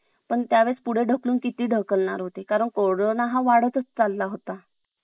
पण त्यावेळेस पुढे ढकलून किती ढकलणार होते कारण कोरोना हा वाढ तच चालला होता